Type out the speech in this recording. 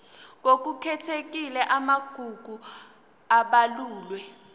ngokukhethekile amagugu abalulwe